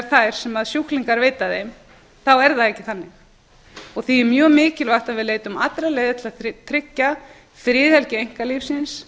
þær sem sjúklingar veita þeim þá er það ekki þannig því er mjög mikilvægt að við leitum allra leiða til að tryggja friðhelgi einkalífsins